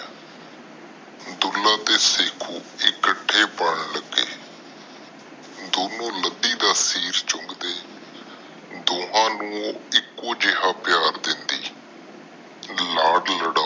ਦੁੱਲਾ ਤੇ ਸ਼ੱਕੂ ਇਕੱਠੇ ਪਲਣ ਲੱਗੇ। ਦੋਨੋ ਲੱਦੀ ਦਾ ਸਿਰ ਚੁੰਗ ਦੇ ਦੋਹਾ ਨੂੰ ਇਕੋ ਜਿਹਾ ਪਿਆਰ ਦੇਂਦੀ ਲਾਡ ਲਡਾਉਂਦੀ